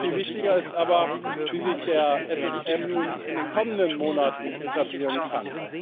Viel wichtiger ist aber, wie sich der SSM nun in den kommenden Monaten etablieren kann.